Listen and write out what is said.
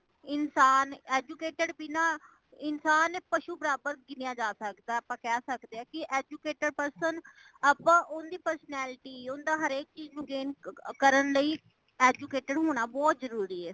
ਇੰਸਾਨ educated ਬਿਨਾਂ ਇੰਸਾਨ ਪਸ਼ੂ ਬਰਾਬਰ ਗਿਣਿਆ ਜਾਂ ਸਕਦਾ ਆਪਾ ਕਹਿ ਸਕਦੇ ਹਾਂ ਕਿ educated person ਆਪਾ ਉਂਜ personality ਉਂਜ ਹਰੇਕ ਚੀਜ਼ ਨੂੰ ਕਰਨ ਲਈ educated ਹੋਣਾ ਬਹੁਤ ਜਰੂਰੀ ਹੈ